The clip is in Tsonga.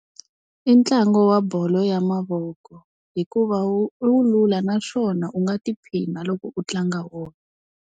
I ntlangu wa bolo ya mavoko. Hikuva wu wu lula naswona u nga tiphina loko u tlanga .